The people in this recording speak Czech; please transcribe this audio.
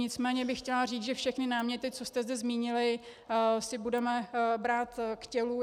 Nicméně bych chtěla říct, že všechny náměty, co jste zde zmínili, si budeme brát k tělu.